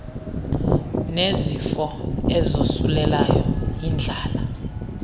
nezifo ezosulelayo indlala